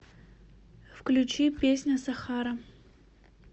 включи песня сахара